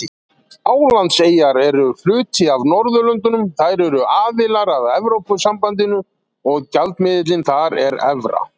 Álandseyjar eru hluti af Norðurlöndunum, þær eru aðilar að Evrópusambandinu og gjaldmiðillinn þar er evra.